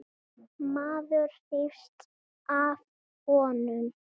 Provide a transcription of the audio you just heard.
Maður hrífst af honum.